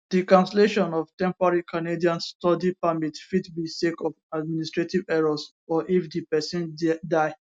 di cancellation of temporary canadian study permit fit be sake of administrative errors or if di pesin dia